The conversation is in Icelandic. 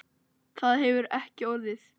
Það hefur ekki orðið.